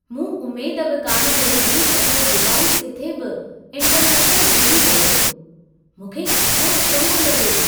मूं उमेदु बि कान कई हुई त इहो डिवाइस किथे बि इंटरनेट सां जुड़ी वेंदो। मूंखे घणो अचंभो लॻो!